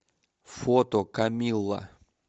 фото камилла